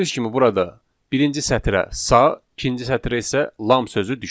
Gördünüz ki, burada birinci sətrə sağ, ikinci sətrə isə lam sözü düşüb.